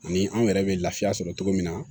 Ani an yɛrɛ bɛ lafiya sɔrɔ cogo min na